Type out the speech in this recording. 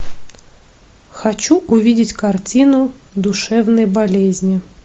хочу увидеть картину душевные болезни